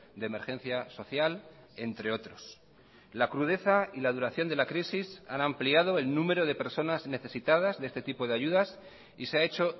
de emergencia social entre otros la crudeza y la duración de la crisis han ampliado el número de personas necesitadas de este tipo de ayudas y se ha hecho